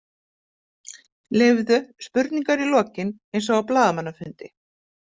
Leyfðu spurningar í lokin eins og á blaðamannafundi.